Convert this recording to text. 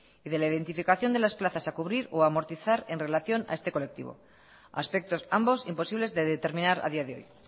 y de la identificación de las plazas a cubrir o a amortizar en relación a este colectivo aspectos ambos imposibles de determinar a día de hoy